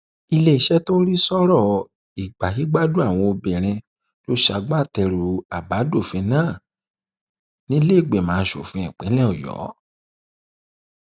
iléeṣẹ tó ń rí sí ọrọ ìgbáyégbádùn àwọn obìnrin ló ṣagbátẹrù àbádòfin náà nílẹẹgbìmọ asòfin ìpínlẹ ọyọ